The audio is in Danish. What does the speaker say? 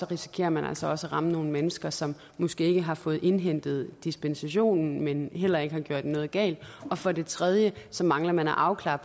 risikerer man altså også at ramme nogle mennesker som måske ikke har fået indhentet dispensationen men som heller ikke har gjort noget galt og for det tredje mangler man at afklare